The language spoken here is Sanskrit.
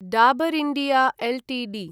Dabur India Ltd